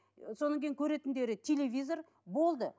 ы сонан кейін көретіндері телевизор болды